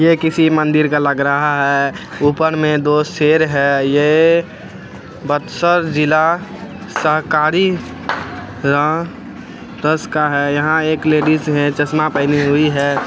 यह किसी मंदिर का लग रहा है ऊपर में दो शेर है| ये बतसर जिला सरकारी का है| यहाँ एक लेडिज है चश्मा पहने हुई है।